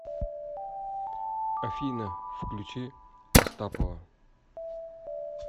афина включи астапова